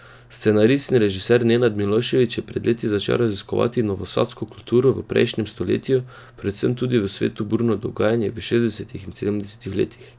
Scenarist in režiser Nenad Milošević je pred leti začel raziskovati novosadsko kulturo v prejšnjem stoletju, predvsem tudi v svetu burno dogajanje v šestdesetih in sedemdesetih letih.